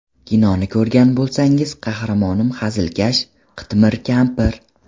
Kinoni ko‘rgan bo‘lsangiz, qahramonim hazilkash, qitmir kampir.